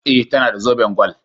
E, tana da zoben gwal.